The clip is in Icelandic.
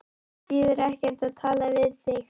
Það þýðir ekkert að tala við þig.